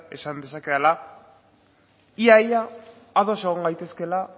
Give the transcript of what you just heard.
esan dezakedala ia ia ados egon gaitezkeela